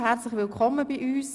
Herzlich willkommen bei uns!